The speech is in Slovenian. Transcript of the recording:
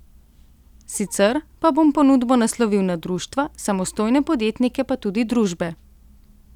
Sicer pa bom ponudbo naslovil na društva, samostojne podjetnike pa tudi družbe.